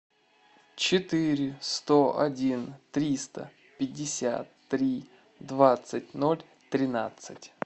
четыре сто один триста пятьдесят три двадцать ноль тринадцать